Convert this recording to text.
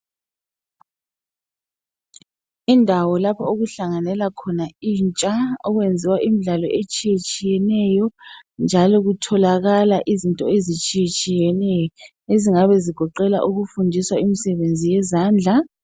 Indawo lapho okuhlanganela khona intsha okwenziwa imidlalo etshiyetshiyeneyo njalo kutholakala izinto ezitshiyetshiyeneyo ezingabe zigoqela ukufundiswa imisebenzi yezandla.